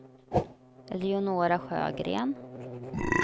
Eleonora Sjögren